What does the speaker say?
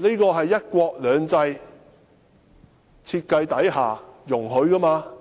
這是"一國兩制"設計之下所容許的。